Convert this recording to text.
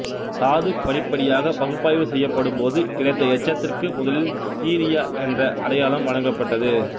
தாது படிப்படியாக பகுப்பாய்வு செய்யப்பட்ட போது கிடைத்த எச்சத்திற்கு முதலில் சீரியா என்ற அடையாளம் வழங்கப்பட்டது